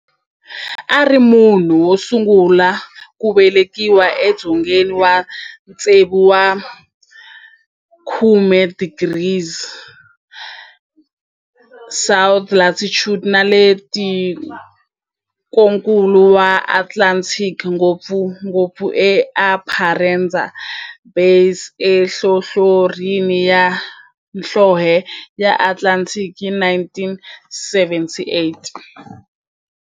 A ri munhu wosungula ku velekiwa e dzongeni wa 60 degrees south latitude nale ka tikonkulu ra Antarctic, ngopfungopfu eEsperanza Base enhlohlorhini ya nhlonhle ya Antarctic hi 1978.